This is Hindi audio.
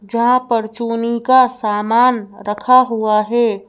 जहां परचूनी का सामान रखा हुआ है।